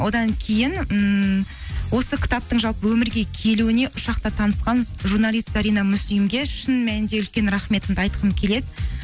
одан кейін ммм осы кітаптың жалпы өмірге келуіне ұшақта танысқан журналист зарина муслимге шын мәнінде үлкен рахметімді айтқым келеді